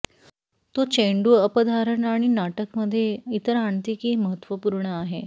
तो चेंडू अप धारण आणि नाटक मध्ये इतर आणते की महत्त्वपूर्ण आहे